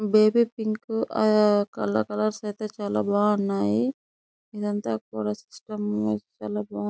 Baby pink colour colours అయితే చాల బాగున్నాయ్. అంత కూడా సిస్టం కూడా చాల బాగుంది --